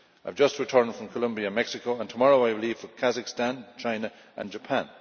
I have just returned from Colombia and Mexico and tomorrow I leave for Kazakhstan, China and Japan.